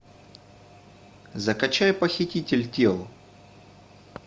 закачай похититель тел